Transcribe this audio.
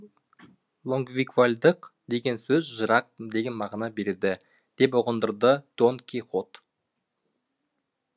лонгинквальдық деген сөз жырақ деген мағына береді деп ұғындырды дон кихот